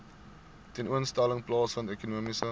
tentoonstelling plaasvind ekonomiese